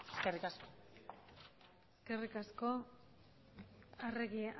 eskerrik asko eskerrik asko arregi